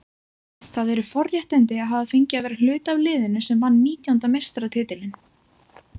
Það eru forréttindi að hafa fengið að vera hluti af liðinu sem vann nítjánda meistaratitilinn.